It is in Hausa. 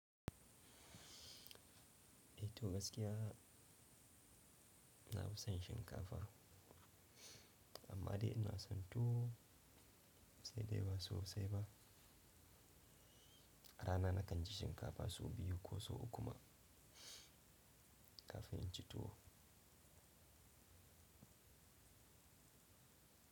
Eh tu gaskiya na fi son shinkafa amma dai ina son tu sai dai ba so sai ba. Rana na kan ci shinkafa so biyu ko so uku ma kafin in ci tuwo.